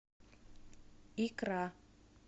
икра